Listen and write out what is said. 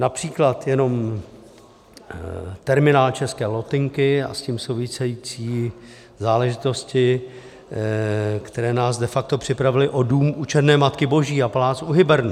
Například jenom terminál České lotynky a s tím související záležitosti, které nás de facto připravily o dům U Černé Matky Boží a palác U Hybernů.